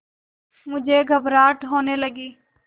मुझे घबराहट होने लगी